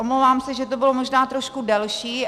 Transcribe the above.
Omlouvám se, že to bylo možná trošku delší.